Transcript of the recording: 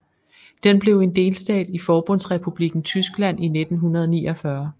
Den blev en delstat i Forbundsrepublikken Tyskland i 1949